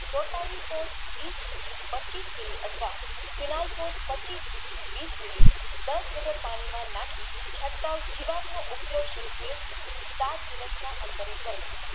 વેપારીકો પચીસ MILI અથવા ફીલાલ્સો પચીસ થી વિસ MILI દસ liter પાણી માં નાખી છટકાવ જિનકનો ઊપરેક્સ વિષે સાત દિવસના અંતરે કરવો